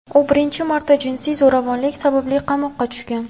U birinchi marta jinsiy zo‘ravonlik sababli qamoqqa tushgan.